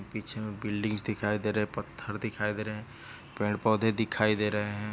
पीछे बिल्डिंग्स दिखाई दे रहे पत्थर दिखाई दे रहे पेड़ पौधे दिखाई दे रहे है।